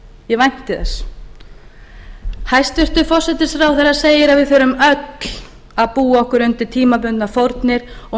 ég vænti þess hæstvirtur forsætisráðherra segir að við þurfum öll að búa okkur undir tímabundnar fórnir og